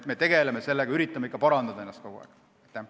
Me tegeleme sellega, üritame ennast ikka kogu aeg parandada.